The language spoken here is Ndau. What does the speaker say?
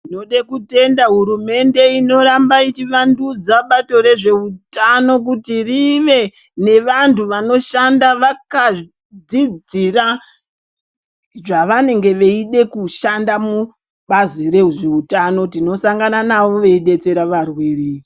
Ndinode kutenda hurumende inoramba ichivandudza bato rezveutano kuti rive nevantu vanoshanda vakadzidzira zvavanenge veide kushanda mubazi rezveutano tinosangana navo veyidetsera arwere.